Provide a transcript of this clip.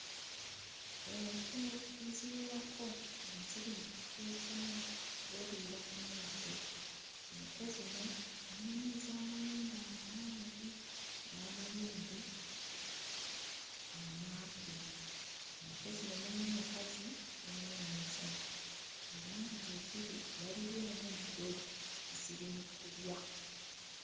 Ente eziwerako nga ziri mu kifo ekimu zeeriira ku muddo. Ente zino mulimu ez'amayembe amawanvu n'amayembe amampi. Ente zino mulimu enkazi, mulimu n'ensajja era nga we ziri waliwo omuddo, ziri mu kulya.